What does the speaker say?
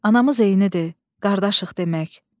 Anamız eynidir, qardaşıq demək.